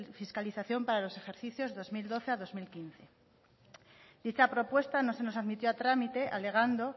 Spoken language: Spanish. fiscalización para los ejercicios dos mil doce a bi mila hamabost dicha propuesta no se nos admitió a trámite alegando